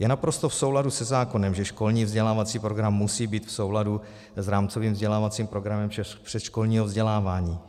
Je naprosto v souladu se zákonem, že školní vzdělávací program musí být v souladu s rámcovým vzdělávacím programem předškolního vzdělávání.